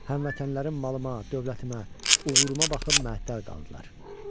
Həmvətənlərim malıma, dövlətimə, uğuruma baxıb məəttəl qaldılar.